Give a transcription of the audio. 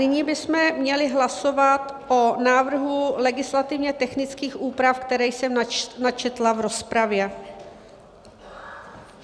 Nyní bychom měli hlasovat o návrhu legislativně technických úprav, které jsem načetla v rozpravě.